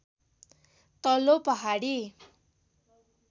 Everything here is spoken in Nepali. तल्लो पहाडी